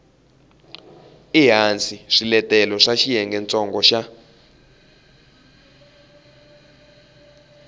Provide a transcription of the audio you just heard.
ehansi swiletelo swa xiyengentsongo xa